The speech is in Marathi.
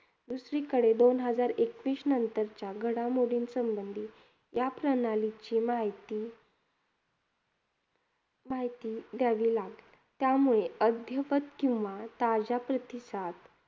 दुसरीकडे, दोन हजार एकवीस नंतरच्या घडामोडींसंबंधी या प्रणालीची माहिती, माहिती द्यावी लागेल. त्यामुळे अद्यवत किंवा ताज्या प्रतिसाद